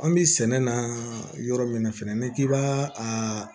An bɛ sɛnɛ na yɔrɔ min na fɛnɛ n'i k'i b'a a